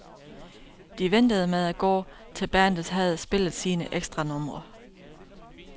De ventede med at gå, til bandet havde spillet sine ekstranumre.